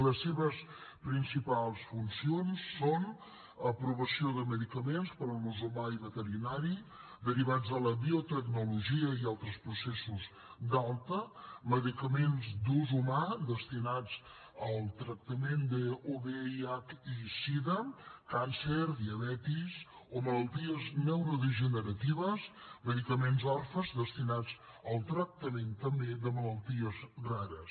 les seves principals funcions són aprovació de medicaments per a l’ús humà i veterinari derivats de la biotecnologia i altres processos d’alta medicaments d’ús humà destinats al tractament de vih i sida càncer diabetis o malalties neurodegeneratives medicaments orfes destinats al tractament també de malalties rares